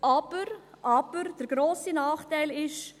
Aber, aber, der grosse Nachteil ist: